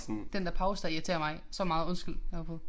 Den der pause der irriterer mig så meget. Undskyld jeg afbrød